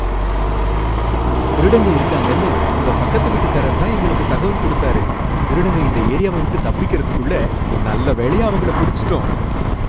திருடங்க இருக்காங்கன்னு உங்க பக்கத்துவீட்டுக்கரர்தான் எங்களுக்கு தகவல் குடுத்தாரு, திருடங்க இந்த ஏரியாவை விட்டு தப்பிக்குறதுக்குள்ள நல்லவேளையா அவங்களைப் பிடிச்சுட்டோம்.